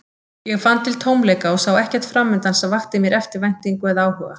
Ég fann til tómleika og sá ekkert framundan sem vakti mér eftirvæntingu eða áhuga.